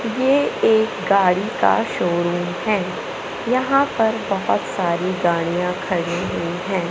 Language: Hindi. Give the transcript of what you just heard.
ये एक गाड़ी का शोरूम है यहां पर बहोत सारी गाड़ियां खड़ी हुई हैं।